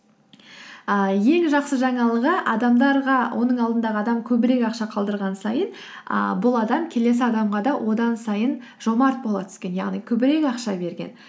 ііі ең жақсы жаңалығы адамдарға оның алдындағы адам көбірек ақша қалдырған сайын ііі бұл адам келесі адамға да одан сайын жомарт бола түскен яғни көбірек ақша берген